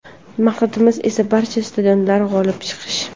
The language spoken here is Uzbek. Maqsadimiz esa barcha stadionlarda g‘olib chiqish”.